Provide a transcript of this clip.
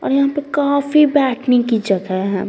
और यहां पे काफी बैठने की जगह है।